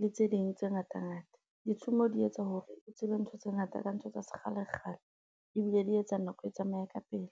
le tse ding tse ngata ngata ditshomo di etsa hore o tsebe ntho tse ngata ka ntho tsa sekgalekgale ebile di etsa nako e tsamaye ka pele.